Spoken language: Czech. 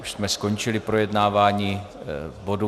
Už jsme skončili projednávání bodu.